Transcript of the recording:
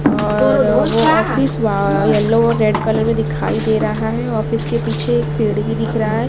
और अ वो ऑफिस येल्लो रेड कलर दिखाई दे रहा है ऑफिस के पीछे एक पेड़ भी दिख रहा है।